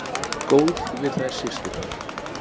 Góð við þær systurnar.